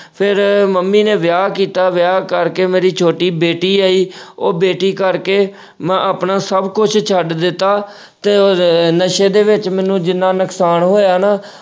ਫਿਰ ਮੰਮੀ ਨੇ ਵਿਆਹ ਕੀਤਾ, ਵਿਆਹ ਕਰਕੇ ਮੇਰੀ ਛੋਟੀ ਬੇਟੀ ਆਈ, ਉਹ ਬੇਟੀ ਕਰਕੇ ਮੈਂ ਆਪਣਾ ਸਭ ਕੁੱਝ ਛੱਡ ਦਿੱਤਾ ਤੇ ਅਹ ਤੇ ਨਸ਼ੇ ਦੇ ਵਿੱਚ ਮੈਨੂੰ ਜਿੰਨ੍ਹਾਂ ਨੁਕਸਾਨ ਹੋਇਆ ਨਾ।